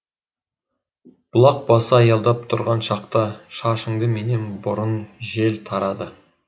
бұлақ басы аялдап тұрған шақта шашыңды менен бұрын жел тарады